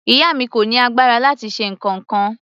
Ìyá mi kò ní agbára láti ṣe nǹkankan.